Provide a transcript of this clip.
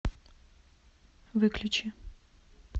выключи